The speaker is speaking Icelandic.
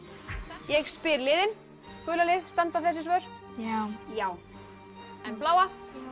ég spyr liðin gula lið standa þessi svör já en bláa